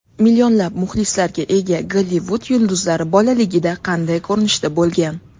Millionlab muxlislarga ega Gollivud yulduzlari bolaligida qanday ko‘rinishda bo‘lgan?